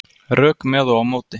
Rök með og á móti